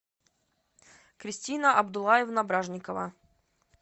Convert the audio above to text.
кристина абдуллаевна бражникова